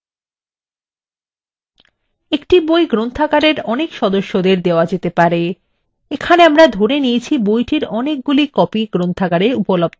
একটি বই গ্রন্থাগারের অনেক সদস্যদের দেওয়া যেতে পারে এখানে আমরা ধরে নিয়েছি বইটির অনেকগুলি copies গ্রন্থাগারে উপলব্ধ আছে